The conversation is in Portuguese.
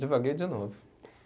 Divaguei de novo.